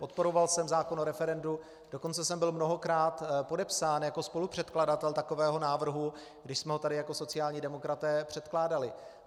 Podporoval jsem zákon o referendu, dokonce jsem byl mnohokrát podepsán jako spolupředkladatel takového návrhu, když jsme ho tady jako sociální demokraté předkládali.